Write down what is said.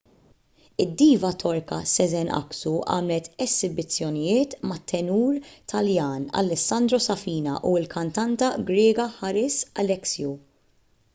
id-diva torka sezen aksu għamlet esibizzjonijiet mat-tenur taljan alessandro safina u l-kantanta griega haris alexiou